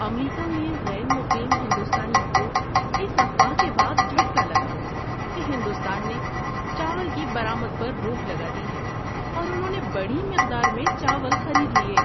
امریکہ میں غیر مقیم ہندوستانیوں کو اس افواہ کے بعد جھٹکا لگا کہ ہندوستان نے چاول کی برآمد پر روک لگا دی ہے اور انہوں نے بڑی مقدار میں چاول خرید لیے۔